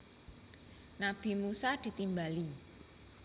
Nabi Musa ditimbali